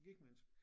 Lige mindst